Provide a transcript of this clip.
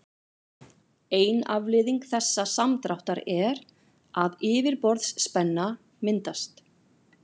ein afleiðing þessa samdráttar er að yfirborðsspenna myndast